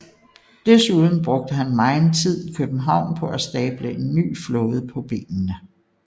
Desuden brugte han megen tid i København på at stable en ny flåde på benene